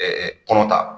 kɔnɔ ta